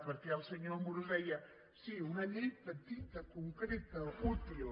perquè el senyor amorós deia sí una llei petita concreta útil